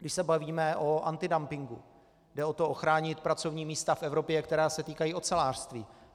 Když se bavíme o antidumpingu, jde o to ochránit pracovní místa v Evropě, která se týkají ocelářství.